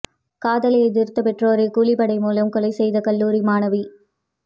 காதலை எதிர்த்த பெற்றோரை கூலிப்படை மூலம் கொலை செய்த கல்லூரி மாணவி